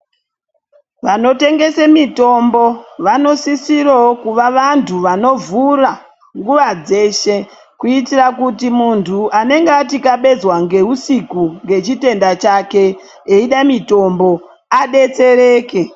Vanotengese mitombo vanosisiravo kuva vantu vanovhura nguva dzeshe. kuitira kuti muntu anenge atikabezwa ngeusiku ngechitenda chake eida mitombo abetsereke.